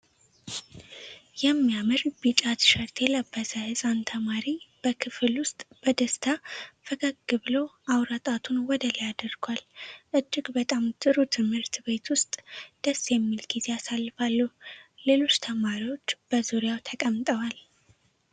የሚያምር ቢጫ ቲሸርት የለበሰ ሕፃን ተማሪ በክፍል ውስጥ በደስታ ፈገግ ብሎ አውራ ጣቱን ወደ ላይ አድርጓል። እጅግ በጣም ጥሩ ትምህርት ቤት ውስጥ ደስ የሚል ጊዜ ያሳልፋሉ። ሌሎች ተማሪዎች በዙሪያው ተቀምጠዋል።